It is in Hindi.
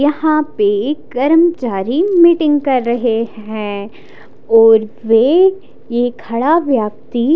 यहाँ पे कर्मचारी मीटिंग कर रहे हैं और वे ये खड़ा व्यक्ति--